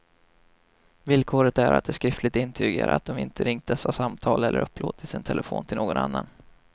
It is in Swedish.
Villkoret är att de skriftligt intygar att de inte ringt dessa samtal eller upplåtit sin telefon till någon annan.